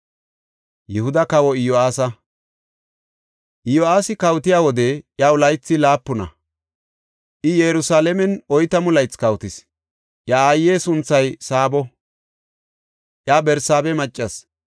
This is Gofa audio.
Iyo7aasi kawotiya wode iyaw laythi laapuna; I Yerusalaamen oytamu laythi kawotis. Iya aaye sunthay Saabo; iya Barsaabe maccas.